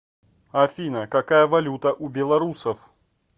афина какая валюта у белорусов